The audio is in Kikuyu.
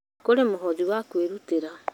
Kũrĩ mũhothi wa kwĩrutĩra